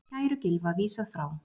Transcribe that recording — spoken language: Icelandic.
Kæru Gylfa vísað frá